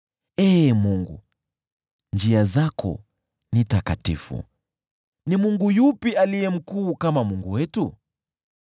Ee Mungu, njia zako ni takatifu. Ni mungu yupi aliye mkuu kama Mungu wetu?